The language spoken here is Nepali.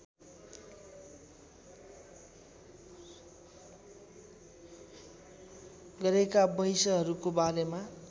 गरेका वैँसहरूको बारेमा